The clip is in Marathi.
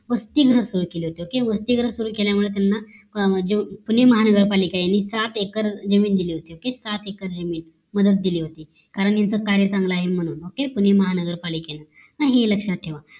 वसतिगृह सुरु केली होती त्यामुळे त्यांना पुणे महानगर पालिकेत त्यांना सात एक्कर जमीन दिली होती सात एक्कर जमीन कारण त्यांचं कार्य चांगलं आहे म्हणून पुणे महानगर पालिकेत हे सूद लक्ष्यात ठेवायचं ओक